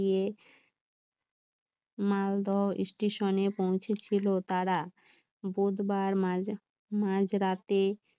Malda station এ পৌঁছে ছিল তারা বুধবার মাঝরাতে